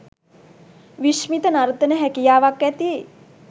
විශ්මිත නර්තන හැකියාවක් ඇති